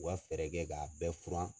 U ka fɛɛrɛ kɛ k'a bɛɛ furan.